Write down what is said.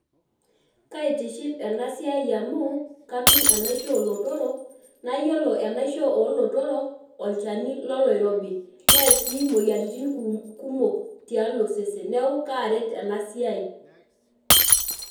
Kaitiship ena siai amu katum enaisho olotorok naa kore enaisho olororok naa olchani loloirobi Near sii imuoyiaritin kumok tialo osesen niaku kaaret ena siai